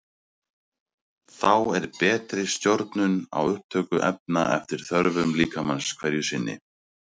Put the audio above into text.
Þá er betri stjórnun á upptöku efna eftir þörfum líkamans hverju sinni.